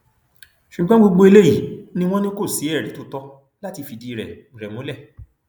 ṣùgbọn gbogbo eléyìí ni wọn ní kò sí ẹrí tó tọ láti fìdí rẹ rẹ múlẹ